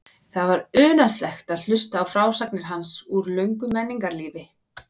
Það var unaðslegt að hlusta á frásagnir hans úr löngu menningarlífi.